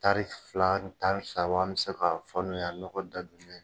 Tari fila ni tari saba an be ka fɔ n y'a ɲɔgɔn datugulen